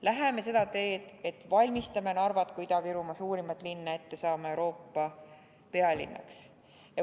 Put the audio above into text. Läheme seda teed, et valmistame Narvat kui Ida-Virumaa suurimat linna ette saama Euroopa kultuuripealinnaks!